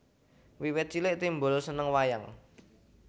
Wiwit cilik Timbul seneng wayang